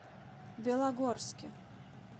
белогорске